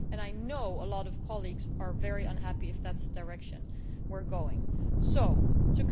I know a lot of colleagues are very unhappy if that is the direction we are going in.